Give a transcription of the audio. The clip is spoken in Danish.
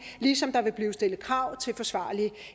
ligesom der vil blive stillet krav til forsvarlig